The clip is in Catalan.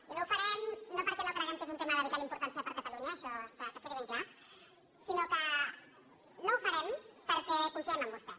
i no ho farem no perquè no creguem que és un tema de vital importància per a catalunya això que quedi ben clar sinó que no ho farem perquè confiem en vostè